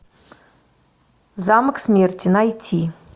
замок смерти найти